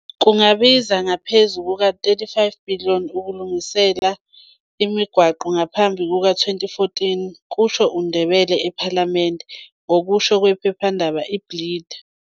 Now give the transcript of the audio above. Kungabiza ngaphezu kuka-R35-billion ukulungisa le migwaqo ngaphambi kuka-2014, kusho uNdebele ePhalamende, ngokusho kwephephandaba iBeeld.